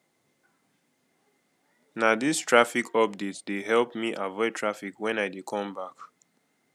na dis traffic update dey help me avoid traffic wen i dey come back